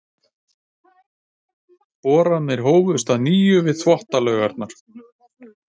Boranir hófust að nýju við Þvottalaugarnar.